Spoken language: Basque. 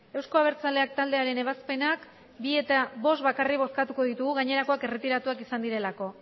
euzko abertzaleak taldearen ebazpenak hiru eta bost bakarrik bozkatuko ditugu gainerakoak erretiratuak izan direlako